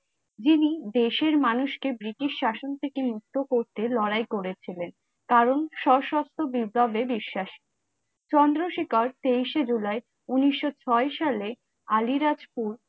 যিনি দেশের মানুষকে ব্রিটিশ শাসন থেকে মুক্ত করতে লড়াই করেছিলেন কারণ সশস্ত্র বিপ্লবে বিশ্বাসী। চন্দ্রশেখর তেইশে জুলাই উনিশশো ছয়ে সালে আলিরাজপুর